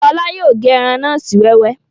Ṣọlá yóò gé ẹran náà sí wẹ́wẹ́